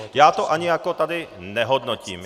Já to ani jako tady nehodnotím.